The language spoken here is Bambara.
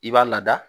I b'a lada